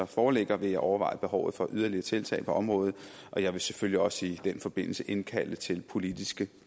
foreligger vil jeg overveje behovet for yderligere tiltag på området jeg vil selvfølgelig også i den forbindelse indkalde til politiske